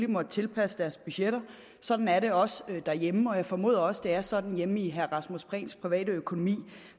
måttet tilpasse deres budgetter sådan er det også derhjemme og jeg formoder at det også er sådan i herre rasmus prehns private økonomi